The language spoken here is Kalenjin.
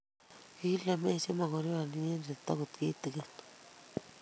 Kile mechi mokorion inyete akot kitigen